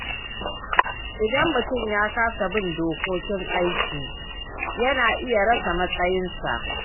Idan mutum ya kasa bin dokokin aiki, yana iya rasa matsayinsa.